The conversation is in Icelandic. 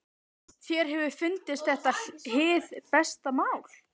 Þér hefur fundist þetta hið besta mál?